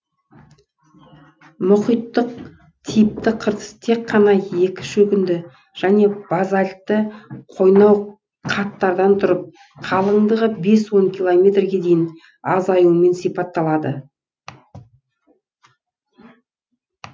мұхиттық типті қыртыс тек қана екі шөгінді және базальтті қойнау қаттардан тұрып қалыңдығы бес он километрге дейін азаюымен сипатталады